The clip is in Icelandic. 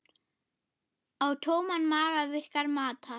Á tóman maga virkar matar